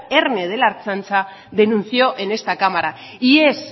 erne de la ertzaintza denunció en este cámara y es